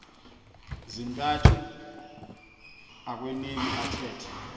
zintathu akueuneki athethe